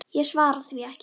Ég svara því ekki.